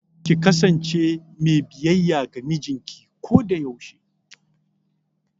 Ki kasance me biyayya ga mijinki kodayaushe!